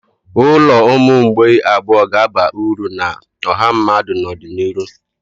Ụlọ ụmụ mgbei abụọ ga-aba uru na ọha mmadụ n'ọdịnihu.